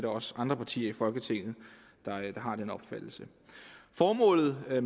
også andre partier i folketinget har den opfattelse formålet med at